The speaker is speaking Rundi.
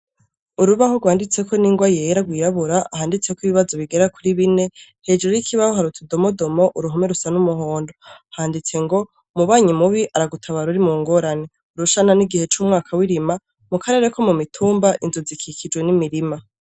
Urubaho rwanditseko n'ingwa yera rwirabura, handitseko ibibazo bigera kuri bine, hejuru y'ikibaho hari utudomodomo, uruhome rusa n'umuhondo. Handitse ngo " Umubanyi mubi aragutabara uri mu ngorane. Urushana ni igihe c'umwaka w'irima. Mu karere ko mu mituma, inzu zikikijwe n'imirima".